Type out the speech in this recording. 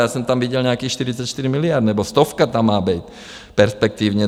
Já jsem tam viděl nějakých 44 miliard nebo stovka tam má být perspektivně.